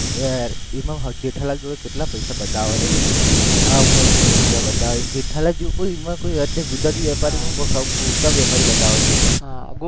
એમાં જેઠાલાલ જો કેટલા પૈસા બતાવે નઈ ઈ રૂમમાં આ રૂપિયા બતાવીને જેઠાલાલ જી ઉઈ માં ગુજરાતીમાં બોલતા બતાવે છે ઈ રૂમમાં